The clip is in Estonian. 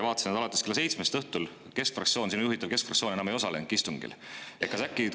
Vaatasin, et alates kella seitsmest õhtul keskfraktsioon, sinu juhitav keskfraktsioon, istungil enam ei osalenud.